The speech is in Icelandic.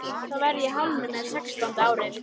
Þá verð ég hálfnuð með sextánda árið.